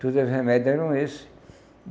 Todos os remédios eram esses.